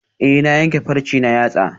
Eh na yanke farce na yatsa